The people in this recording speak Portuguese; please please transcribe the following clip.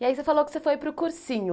E aí você falou que você foi para o cursinho.